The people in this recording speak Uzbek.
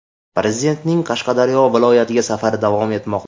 Prezidentning Qashqadaryo viloyatiga safari davom etmoqda.